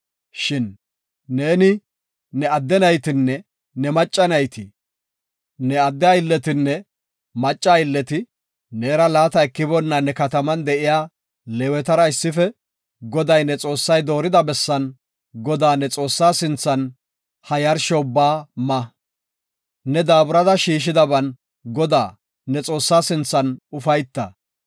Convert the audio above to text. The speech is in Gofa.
Shin neeni, ne adde naytinne ne macca nayti, ne adde aylletinne macca aylleti neera laata ekiboonna ne kataman de7iya Leewetara issife Goday, ne Xoossay doorida bessan, Godaa, ne Xoossaa sinthan, ha yarsho ubbaa ma. Ne daaburada shiishidaban Godaa, ne Xoossaa sinthan ufayta.